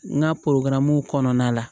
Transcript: N ka kɔnɔna la